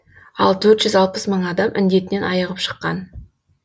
ал төрт жүз алпыс мың адам індетінен айығып шыққан